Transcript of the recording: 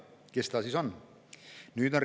Kes ta siis on?